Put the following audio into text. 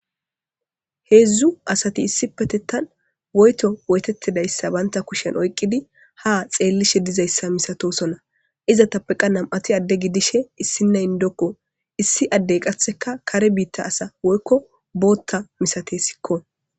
Hezzu asati issipetettan woyko woyttettidi eqqidi ha tseellishe diza asa misatoosono. Izatappeka namati adde gidishe issinnay indekko. Issi addey qassikka kare bitta asa woyko botta misateesikko.